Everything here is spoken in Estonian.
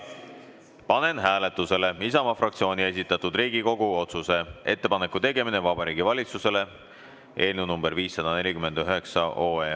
Panen hääletusele Isamaa fraktsiooni esitatud Riigikogu otsuse "Ettepaneku tegemine Vabariigi Valitsusele" eelnõu 549.